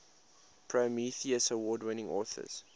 prometheus award winning authors